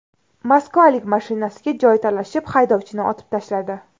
Moskvalik mashinasiga joy talashib, haydovchini otib tashladi.